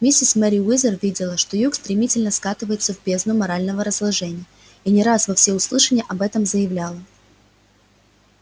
миссис мерриуэзер видела что юг стремительно скатывается в бездну морального разложения и не раз во всеуслышание об этом заявляла